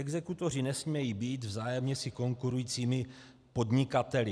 Exekutoři nesmějí být vzájemně si konkurujícími podnikateli.